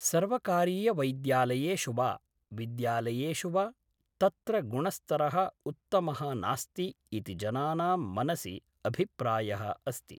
सर्वकारीयवैद्यालयेषु वा विद्यालयेषु वा तत्र गुणस्तरः उत्तमः नास्ति इति जनानां मनसि अभिप्रायः अस्ति